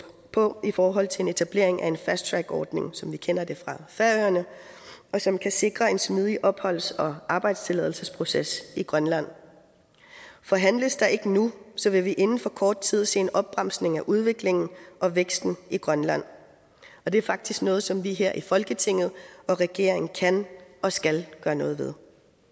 på i forhold til en etablering af en fast track ordning som kender det fra færøerne og som kan sikre en smidig opholds og arbejdstilladelsesproces i grønland for handles der ikke nu vil vi inden for kort tid se en opbremsning af udviklingen og væksten i grønland og det er faktisk noget som vi her i folketinget og regeringen kan og skal gøre noget ved